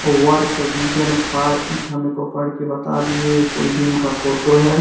Work vision for it हमे को पढ़ के बता दिए। ये कोई जिम का फोटो है।